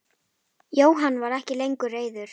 Jóhann var ekki lengur reiður.